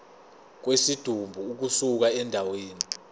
kwesidumbu ukusuka endaweni